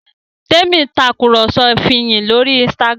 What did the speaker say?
Temi Tàkùrọ̀sọ Fiyin lórí Instagram.